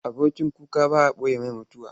Abokin kuka ba a ɓoye masa mutuwa.